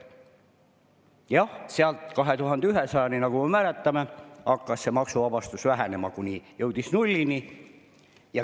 Jah, 2100, nagu me mäletame, hakkas see maksuvabastus vähenema, kuni jõudis nullini.